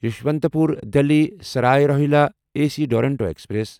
Yesvantpur Delhi Sarai Rohilla A C Duronto express